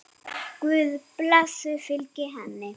Guðs blessun fylgi henni.